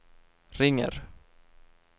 ringer